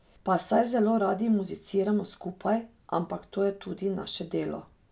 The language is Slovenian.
Pa saj zelo radi muziciramo skupaj, ampak to je tudi naše delo.